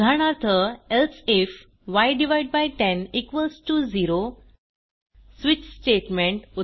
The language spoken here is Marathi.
उदाहरणार्थ एल्से ifय10 इक्वॉल्स टीओ 0 स्विच स्टेटमेंट